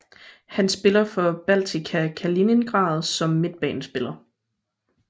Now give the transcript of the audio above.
Han spiller for Baltika Kaliningrad som midtbanespiller